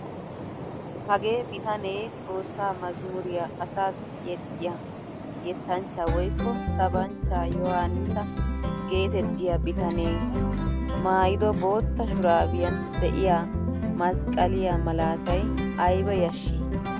Hagee bitanee xoossaa mazmuriyaa asassi yexxiyaa yettanchchaa woykko sabanchchaa yohaanissa getettiyaa bitanee maayido bootta shuraabiyan de'iyaa masqqaliyaa malatay ayba yashshii!